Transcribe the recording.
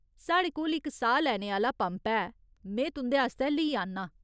साढ़े कोल इक साह् लैने आह्‌ला‌ पंप है, में तुं'दे आस्तै लेई आह्‌न्ना।